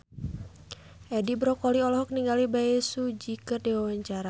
Edi Brokoli olohok ningali Bae Su Ji keur diwawancara